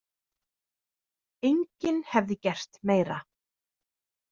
Enginn hefði gert meira.